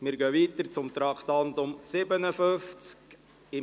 Wir fahren weiter mit dem Traktandum 57: «